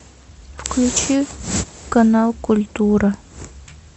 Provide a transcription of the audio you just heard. включи канал культура